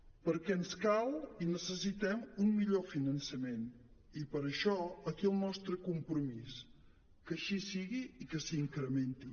perquè ens cal i necessitem un millor finançament i per això aquí el nostre compromís que així sigui i que s’incrementi